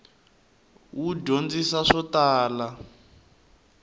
wu dyondzisa swo tala